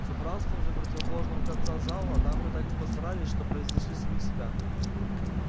с убранством же противоположного конца зала дамы так постарались что превзошли самих себя